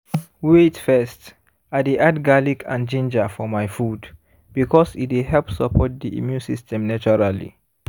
wait first i dey add garlic and ginger for my food because e dey help support the immune system naturally